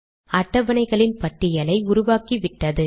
அட்டவணைகளின் பட்டியலை உருவாக்கிவிட்டது